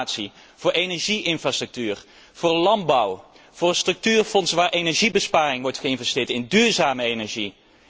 Voor innovatie, voor energie infrastructuur, voor de landbouw, voor een structuurfonds, waar in energiebesparing wordt geïnvesteerd, in duurzame energie.